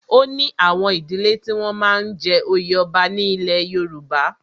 O ní àwọn ìdílẹ́ tí wọ́n máa ń jẹ oyè ọba ní ilẹ̀ Yorùbá.